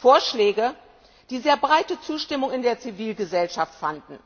Vorschläge, die sehr breite Zustimmung in der Zivilgesellschaft fanden,